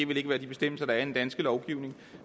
vil være de bestemmelser der er i den danske lovgivning